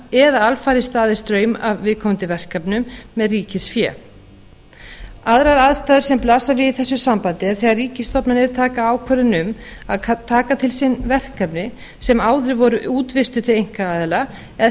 eða alfarið staðið straum af viðkomandi verkefnum með ríkisfé aðrar aðstæður sem blasa við í þessu sambandi er þegar ríkisstofnanir taka ákvörðun um að taka til sín verkefni sem áður voru útvistuð til einkaaðila eða